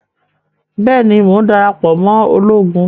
Bẹẹni, Mo n darapọ mọ ologun